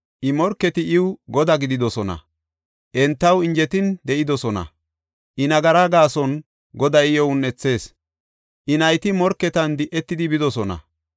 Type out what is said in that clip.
I morketi iw godaa gididosona; entaw injetin de7idosona. I, nagaraa gaason Goday iyo un7ethis; I nayti morketan di7etidi bidosona.